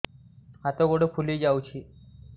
ହାତ ଗୋଡ଼ ଫୁଲି ଯାଉଛି